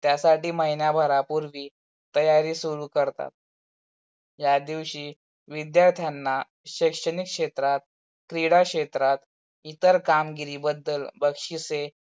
त्यासाठी महिनाभारापूर्वी तयारी सुरु करतात. त्या दिवशी विद्यार्थांना शैक्षनिक क्षेत्रात, क्रीडा क्षेत्रात इतर कामगिरी बदल बक्षिसे